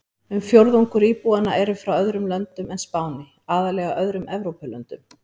Um fjórðungur íbúanna eru frá öðrum löndum en Spáni, aðallega öðrum Evrópulöndum.